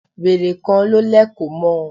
Wèrè kan ló lẹ̀kọ̀ mọ́ ọn.